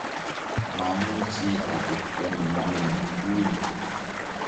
mamuchi atebto nenyine ui